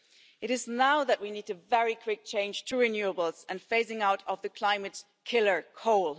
It is now that we need a very quick change to renewables and phasing out of the climate killer coal.